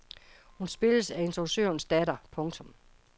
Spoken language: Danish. Hun spilles af instruktørens datter. punktum